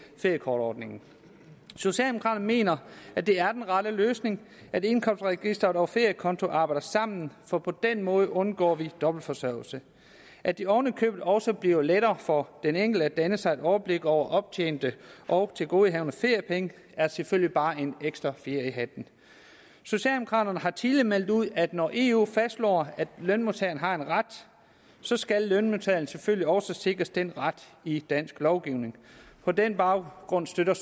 feriekortordningen socialdemokraterne mener at det er den rette løsning at indkomstregisteret og feriekonto arbejder sammen for på den måde undgår vi dobbeltforsørgelse at det oven i købet også bliver lettere for den enkelte at danne sig et overblik over optjente og tilgodehavende feriepenge er selvfølgelig bare en ekstra fjer i hatten socialdemokraterne har tidligere meldt ud at når eu fastslår at lønmodtageren har en ret skal lønmodtageren selvfølgelig også sikres den ret i dansk lovgivning på den baggrund støtter